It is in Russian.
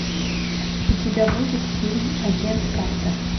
у тебя будет фильм агент картер